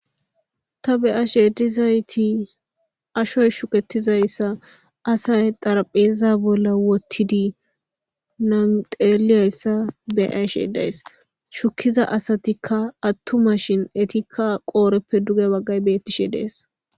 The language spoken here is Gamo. Ta be'ash edizayti ashoy shuketizayssa asay xarpheza bolla wottidi nanxeliyayssa beashe days shukiza asatikka attuma shin etikka qoodheppe duge waggay beettishe dees.